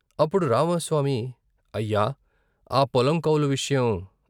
అప్పుడు రామస్వామి " అయ్యా ఆ పొలం కౌలు విషయం...